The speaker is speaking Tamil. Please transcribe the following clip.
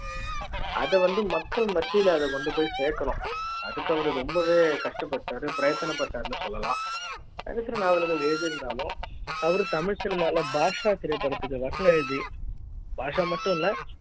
அத வந்து மக்கள் மத்தியில கொண்டு போய் சேர்க்கணும் அதுக்கு அவரு ரொம்பவே கஷ்டப் பட்டார் பிரயோஜன பட்டாருன்னு சொல்லலாம் சரித்திர நாவல்கள எழுதி இருந்தாலும் அவர் தமிழ் சினிமாவில் பாட்ஷா திரைப்படத்திற்கு வசனம் எழுதி பாஷா மட்டும் இல்ல